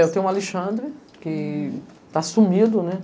Eu tenho o Alexandre, que tá sumido, né?